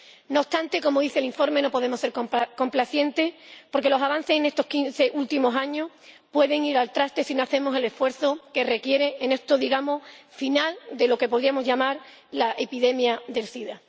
No obstante, como dice el informe, no podemos ser complacientes porque los avances en estos quince últimos años se pueden ir al traste si no hacemos el esfuerzo que requiere este final de lo que podríamos llamar la epidemia del sida.